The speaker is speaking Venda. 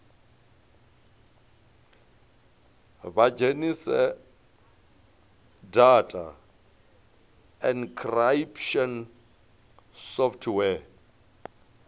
vha dzhenise data encryption software